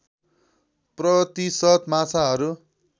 प्रतिशत माछाहरू